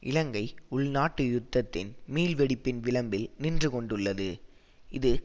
இலங்கை உள்நாட்டு யுத்தத்தின் மீள்வெடிப்பின் விளம்பில் நின்று கொண்டுள்ளது இது